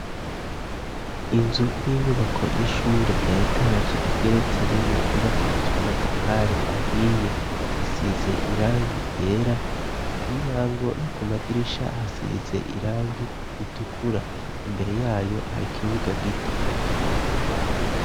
Inzu y'inyubako y'ishure ya etaje igeretse rimwe yubakishije amatafari ahiye isize irangi ryera ku muryango no ku madirisha hasize irangi ritukura, imbere yayo hari ikibuga gito.